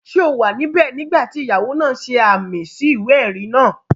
Ṣé o wà níbẹ̀ nígbà tí ìyàwó náà ṣe ààmì sí ìwé-ẹ̀rí náà?